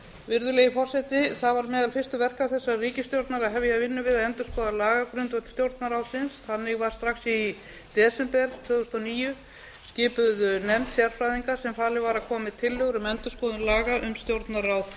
virðulegi forseti það var meðal fyrstu verka þessarar ríkisstjórnar að hefja vinnu við að endurskoða lagagrundvöll stjórnarráðsins þannig var strax í desember tvö þúsund og níu skipuð nefnd sérfræðinga sem falið var að koma með tillögur um endurskoðun laga um stjórnarráð